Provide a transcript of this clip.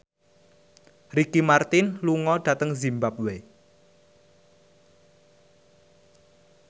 Ricky Martin lunga dhateng zimbabwe